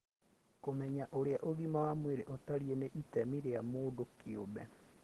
kũmenya ũrĩa ũgima wa mwĩrĩ ũtariĩ nĩ itemi rĩa mũndũ kĩumbe